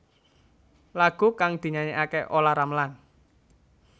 Lagu kang dinyanyekaké Olla Ramlan